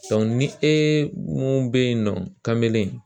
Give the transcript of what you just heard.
ni e mun bɛ ye nɔ kan bɛ